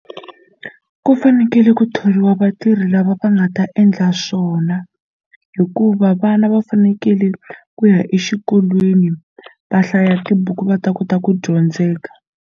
Ku fanekele ku thoriwa vatirhi lava va nga ta endla swona hikuva vana va fanekele ku ya exikolweni va hlaya tibuku va ta kota ku dyondzeka.